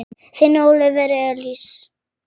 Þinn Óliver Elís.